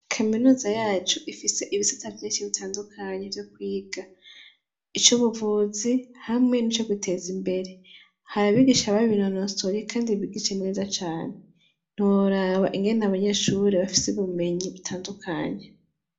Kaminuza yacu ifise ibisata vyinshi bitandukanye vyo kwiga icubuvuzi hamwe n' icokwiteza imbere hari abigisha babinonosoyemwo kandi bigisha neza cane ntiworaba ingene abanyeshure bafise ubumenyi butandukanye.